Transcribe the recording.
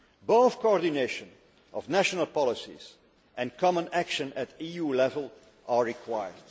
Both coordination of national policies and common action at EU level are required.